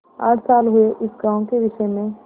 आठ साल हुए इस गॉँव के विषय में